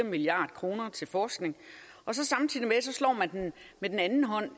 milliard kroner til forskning og samtidig slår man med den anden hånd